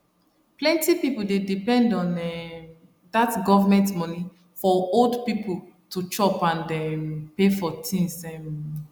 plenty pipo dey depend on um dat government money for old people to chop and um pay for tins um